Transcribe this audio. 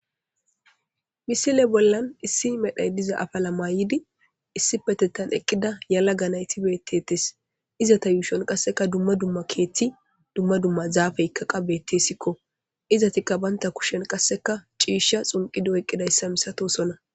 Misile bollan issi medhoy diza afala mayidi issi bolla eqida yalaga nayiti betes izata yushon duma duma kethi duma duma zapeyka betesko izatika banita kushen qaseka cisha xuniqudi oyikidaysa milatosona